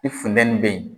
I funtɛni be yen